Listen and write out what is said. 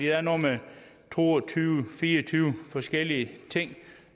er noget med to og tyve til fire og tyve forskellige ting